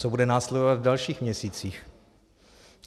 Co bude následovat v dalších měsících?